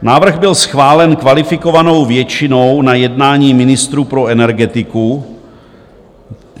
Návrh byl schválen kvalifikovanou většinou na jednání ministrů pro energetiku.